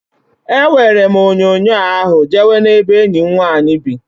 Eweere m onyoonyo ahụ je we n'ebe enyi m nwanyị bị.